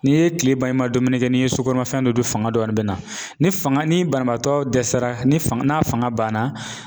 N'i ye tile ban i ma dumuni kɛ ni ye sukɔnɔ mafɛn dɔ dun fanga dɔɔnin bɛna ni fanga ni banabaatɔ dɛsɛra ni fanga n'a fanga banna